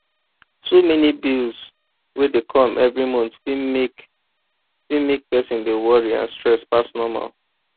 too many bills wey dey come every month fit mek fit mek person dey worry and stress pass normal